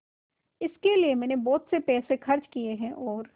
इसके लिए मैंने बहुत पैसे खर्च किए हैं और